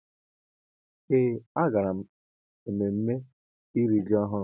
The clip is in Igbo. Ee agara m ememme iri ji ọhụrụ.